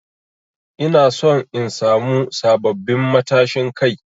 Ina son in samu sabbabin matashin Kai.